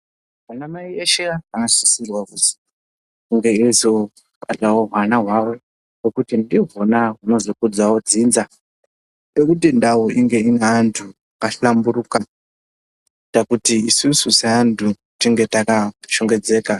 Anamai eshe vanombai sisirwa kuti veizo batewo hwana hwavo ngekuti ndihwona hunokudzawo dzinza tode kuti ndau inge ine vandu vaka hlamburika kuita isusu sevandu tinge taka